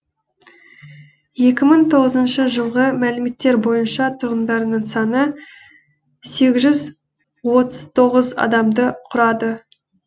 екі мың тоғызыншы жылғы мәліметтер бойынша тұрғындарының саны сегіз жүз отыз тоғыз адамды құрады